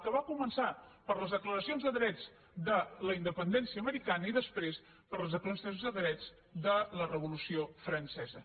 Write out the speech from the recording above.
que va començar per les declaracions de drets de la independència americana i després per les declaracions de drets de la revolució francesa